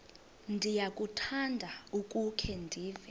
ndiyakuthanda ukukhe ndive